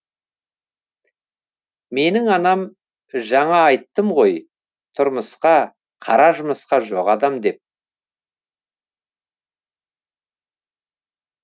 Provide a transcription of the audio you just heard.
менің анам жаңа айттым ғой тұрмысқа қара жұмысқа жоқ адам деп